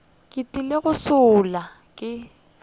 ke tlile go šala ke